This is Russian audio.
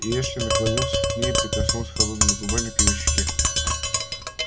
и эшли наклонился к ней и прикоснулся холодными губами к её щеке